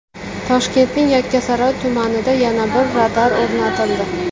Toshkentning Yakkasaroy tumanida yana bir radar o‘rnatildi.